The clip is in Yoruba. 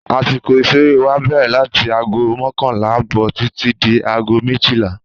Àsìkò ìṣeré wá bẹ̀rẹ̀ láti aago mọ́kànlá ààbò títí di aago méjìlá